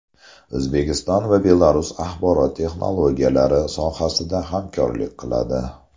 O‘zbekiston va Belarus axborot texnologiyalari sohasida hamkorlik qiladi.